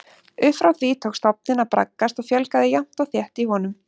Upp frá því tók stofninn að braggast og fjölgaði jafnt og þétt í honum.